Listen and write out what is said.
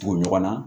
Tugu ɲɔgɔn na